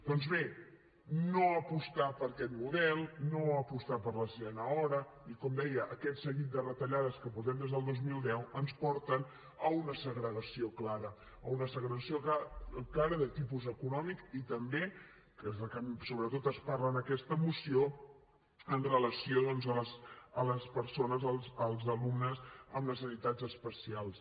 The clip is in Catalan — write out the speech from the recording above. doncs bé no apostar per aquest model no apostar per la sisena hora i com deia aquest seguit de retallades que portem des del dos mil deu ens porten a una segregació clara a una segregació clara de tipus econòmic i també que és la que sobretot es parla en aquesta moció amb relació doncs a les persones als alumnes amb necessitats especials